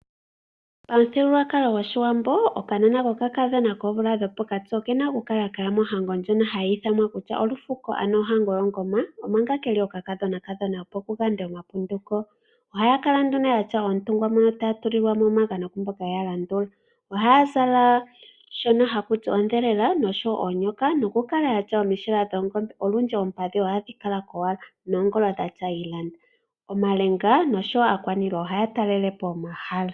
Pamuthigululwakalo gOshiwambo okanona kokakadhona koomvula dhopokati oke na okukala kaya mohango ndjono hayi ithanwa kutya olufuko, ano ohango yomoongoma, omanga ke li okakadhonakadhona, opo ku yandwe omapunduko. Ohaya kala yatya oontungwa moka taya tulilwa mo omagano ku mboka ye ya landula. Ohaya zala shono haku ti ondhelela nosho wo oonyoka nokukala ya tya omishila dhoongombe. Olundji oompadhi ohadhi kala kompanda noongolo dha tya uuputu. Omalenga nosho wo aakwaniilwa ohaya talele po omahala.